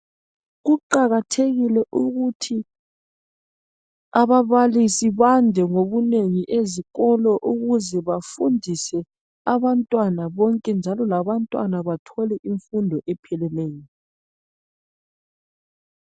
kuqakathekile ukuthi abababalisi bande mgobunengi ezikolo ukuze bafundise abantwana bonke njalo labantwana bathole imfundo epheleleyo